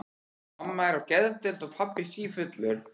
Mamma er á geðdeild og pabbi sífullur.